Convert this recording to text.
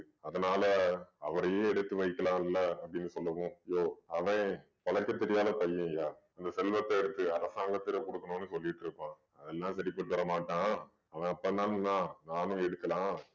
அதனால அவரையே எடுத்து வைக்கலாம்ல அப்படின்னு சொல்லவும் யோவ் அவன் கணக்கு தெரியாத பையன்யா அந்த செல்வத்த எடுத்து அரசாங்கத்தில குடுக்கணும்ன்னு சொல்லிட்டு இருப்பான் அவன்ல சரிபட்டுவரமாட்டான் அவன் அப்பன்தான் நான் நானும் எடுக்கலாம்